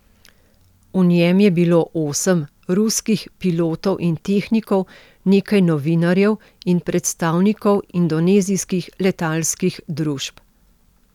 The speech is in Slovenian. V njem je bilo osem ruskih pilotov in tehnikov, nekaj novinarjev in predstavnikov indonezijskih letalskih družb.